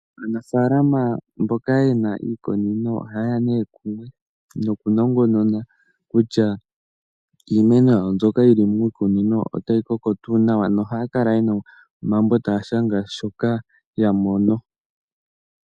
Aanafaalama mboka yena iikunino ohaya ne kumwe nokunongonona kutya iimeno mbyoka yili miikunino otayi koko tuu nawa na ohaya kala yena omambo taya shanga shoka yamono.